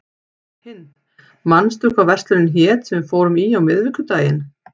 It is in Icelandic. Hind, manstu hvað verslunin hét sem við fórum í á miðvikudaginn?